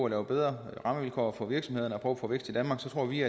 lave bedre rammevilkår for virksomhederne og prøve at få vækst i danmark så tror vi